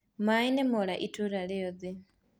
Maĩĩ nĩmora itũra riothe.